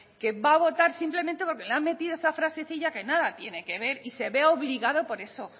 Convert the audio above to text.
que va a votar simplemente porque le ha metido esa frasecilla que nada tiene que ver y se ve obligado por eso